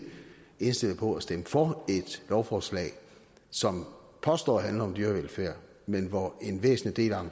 indstillet på at stemme for et lovforslag som påstås at handle om dyrevelfærd men hvor en væsentlig del af